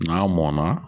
N'a mɔnna